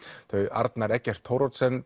Arnar Eggert Thoroddsen